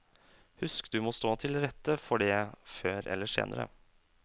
Husk du må stå til rette for det, før eller senere.